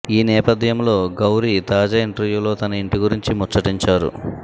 ఈ నేపథ్యంలో గౌరీ తాజా ఇంటర్వ్యూలో తన ఇంటి గురించి ముచ్చటించారు